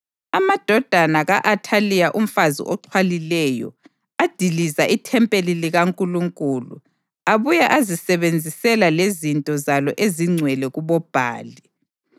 Amadodana ka-Athaliya umfazi oxhwalileyo adiliza ithempeli likaNkulunkulu abuye azisebenzisela lezinto zalo ezingcwele kuboBhali.